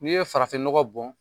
N'i ye farafin nɔgɔ bɔn